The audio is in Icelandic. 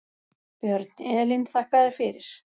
Björn: Elín þakka þér fyrir.